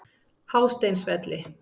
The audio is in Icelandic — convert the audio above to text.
Hásteinsvelli